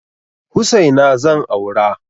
Hussaina zan aura.